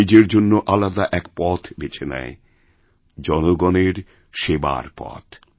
সেনিজের জন্য আলাদা এক পথ বেছে নেয় জনগণের সেবার পথ